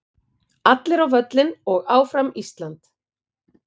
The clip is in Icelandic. Allir á völlinn og Áfram Ísland.